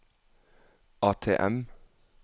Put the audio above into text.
ATM